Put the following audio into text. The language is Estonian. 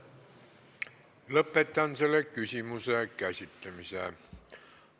Lõpetan selle küsimuse käsitlemise.